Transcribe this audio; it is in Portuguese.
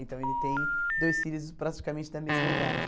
Então, ele tem dois filhos praticamente da mesma idade.